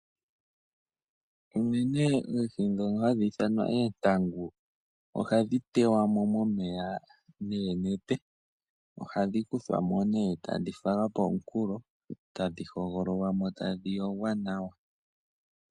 Uunene oohi dhoka hadhi ithanwa oontangu ohadhi tewa mo momeya noonete, ohadhi kuthwa mo ne tadhifalwa pomukulo tadhi hogololwa mo tadhi yogwa nawa.